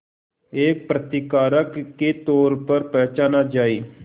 एक प्रतिकारक के तौर पर पहचाना जाए